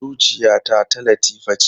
Zuciyata ta Latifa ce.